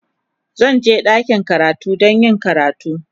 Zan je ɗakin karatu don yin karatu.